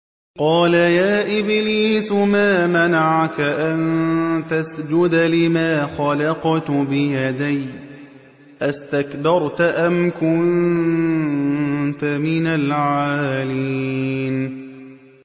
قَالَ يَا إِبْلِيسُ مَا مَنَعَكَ أَن تَسْجُدَ لِمَا خَلَقْتُ بِيَدَيَّ ۖ أَسْتَكْبَرْتَ أَمْ كُنتَ مِنَ الْعَالِينَ